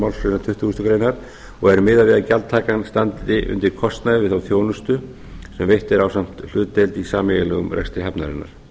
málsgrein tuttugustu greinar og er miðað við að gjaldtakan standi undir kostnaði við þá þjónustu sem veitt er ásamt hlutdeild í sameiginlegum rekstri hafnarinnar